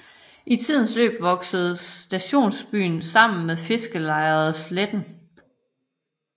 I tidens løb voksede stationsbyen sammen med fiskerlejet Sletten